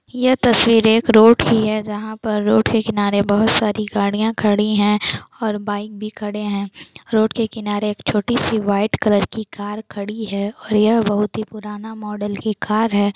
यह तस्वीर एक रोड की है जहाँ पर रोड के किनारे बहुत सारी गाड़ियाँ खड़ी है और बाइक भी खड़े है रोड के किनारे एक छोटी सी वाइट कलर की कार खड़ी है और यह बहुत ही पुराना मॉडल की कार है।